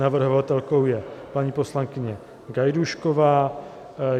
Navrhovatelkou je paní poslankyně Gajdůšková.